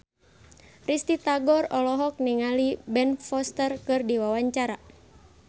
Risty Tagor olohok ningali Ben Foster keur diwawancara